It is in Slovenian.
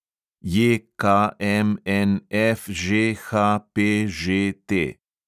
JKMNFŽHPŽT